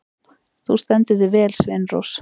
Þú stendur þig vel, Sveinrós!